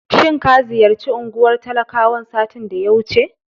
Shin ka ziyarci unguwar talakawan satin da ya wuce?